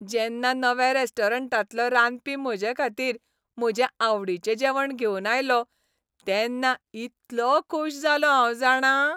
जेन्ना नव्या रेस्टॉरंटांतलो रांदपी म्हजेखातीर म्हजें आवडीचें जेवण घेवन आयलो तेन्ना इतलों खूश जालों हांव जाणा.